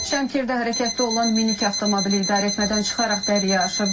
Şəmkirdə hərəkətdə olan minik avtomobili idarəetmədən çıxaraq dəriyə aşıb.